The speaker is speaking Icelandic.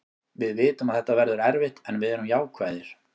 Við vitum að þetta verður erfitt en við erum jákvæðir.